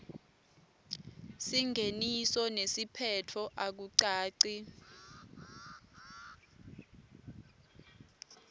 singeniso nesiphetfo akucaci